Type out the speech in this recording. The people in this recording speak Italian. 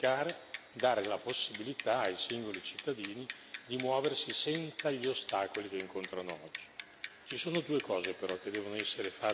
Dunque era importante semplificare, dare la possibilità ai singoli cittadini di muoversi senza gli ostacoli che incontrano oggi.